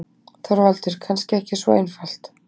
ÞORVALDUR: Kannski ekki svo einfalt.